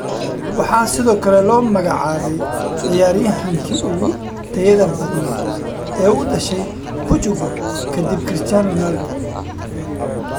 Waxaa sidoo kale loo magacaabay ciyaaryahankii ugu tayada badnaa ee u dhashay Portugal kadib Cristiano Ronaldo.